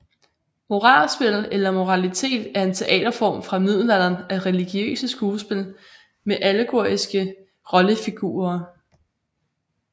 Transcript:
Moralspil eller moralitet er en teaterform fra middelalderen af religiøse skuespil med allegoriske rollefigurer